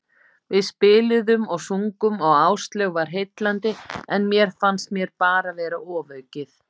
Við spiluðum og sungum og Áslaug var heillandi, en mér fannst mér bara vera ofaukið.